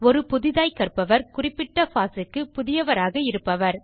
ஒரு புதிதாய்க் கற்பவர் குறிப்பிட்ட பாஸ் க்குப் புதியவராக இருப்பவர்